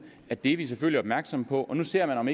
at det er vi selvfølgelig opmærksomme på og nu ser man om